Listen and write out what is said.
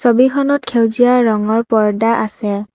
ছবিখনত সেউজীয়া ৰঙৰ পৰ্দা আছে।